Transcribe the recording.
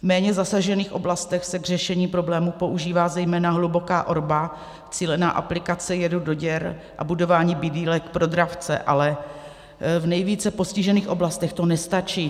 V méně zasažených oblastech se k řešení problému používá zejména hluboká orba, cílená aplikace jedu do děr a budování bidýlek pro dravce, ale v nejvíce postižených oblastech to nestačí.